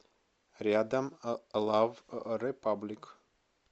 рядом лав репаблик